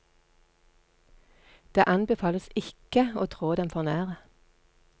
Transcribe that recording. Det anbefales ikke å trå dem for nære.